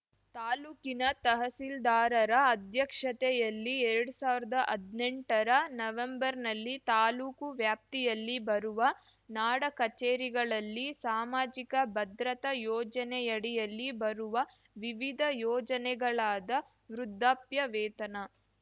ತಾಲೂಕಿನ ತಹಶೀಲ್ದಾರರ ಅಧ್ಯಕ್ಷತೆಯಲ್ಲಿ ಎರಡ್ ಸಾವಿರ್ದಾ ಹದ್ನೆಂಟರ ನವೆಂಬರ್‌ನಲ್ಲಿ ತಾಲೂಕು ವ್ಯಾಪ್ತಿಯಲ್ಲಿ ಬರುವ ನಾಡ ಕಚೇರಿಗಳಲ್ಲಿ ಸಾಮಾಜಿಕ ಭದ್ರತಾ ಯೋಜನೆಯಡಿಯಲ್ಲಿ ಬರುವ ವಿವಿಧ ಯೋಜನೆಗಳಾದ ವೃದ್ದಾಪ್ಯ ವೇತನ